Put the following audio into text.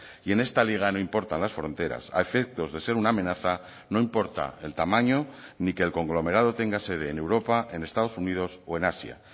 y en esta liga no importan las fronteras a efectos de ser una amenaza no importa el tamaño ni que el conglomerado tenga sede en europa en estados unidos o en asia